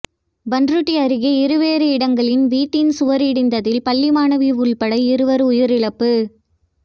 பண்ருட்டி அருகே இருவேறு இடங்களில் வீட்டின் சுவர் இடிந்ததில் பள்ளி மாணவி உள்பட இருவர் உயிரிழப்பு